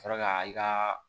Ka sɔrɔ ka i ka